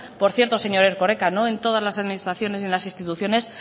por cierto señor erkoreka no en todas las administraciones y en las instituciones